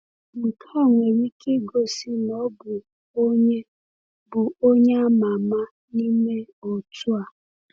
Nke a nwere ike igosi na ọ bụ onye bụ onye ama ama n’ime otu a.